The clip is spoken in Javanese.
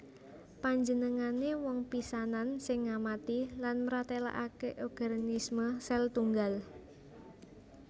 Panjenengané wong pisanan sing ngamati lan mratélakaké organisme sèl tunggal